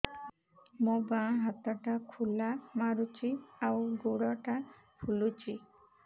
ମୋ ବାଆଁ ହାତଟା ଖିଲା ମାରୁଚି ଆଉ ଗୁଡ଼ ଟା ଫୁଲୁଚି